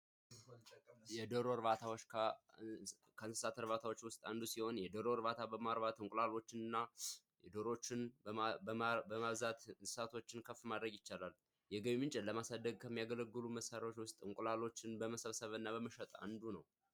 የዶሮ እርባታ ከእንስሳት እርባታዎች ውስጥ አንዱ ሲሆን የዶሮ እርባታ እንቁላሎችንና ዶሮዎችን በማብዛት እንስሳቶችን ከፍ ማድረግ ይቻላል። የገቢ ምንጭ ለማሳደግ ከሚያገለግሉ መሳሪያዎች ውስጥ እንቁላሎችን በመሰብሰብ እና በመሸጥ አንዱ ነው።